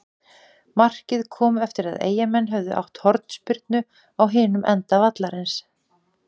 Markið kom eftir að Eyjamenn höfðu átt hornspyrnu á hinum enda vallarins.